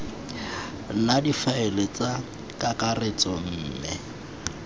nna difaele tsa kakaretso mme